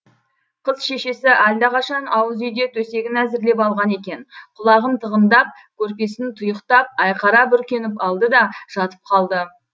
қыз шешесі алдақашан ауыз үйде төсегін әзірлеп алған екен құлағын тығындап көрпесін тұйықтап айқара бүркеніп алды да жатып қалды